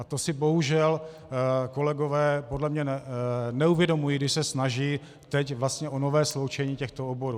A to si bohužel kolegové podle mě neuvědomují, když se snaží teď vlastně o nové sloučení těchto oborů.